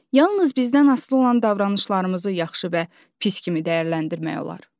Yalnız bizdən asılı olan davranışlarımızı yaxşı və pis kimi dəyərləndirmək olar.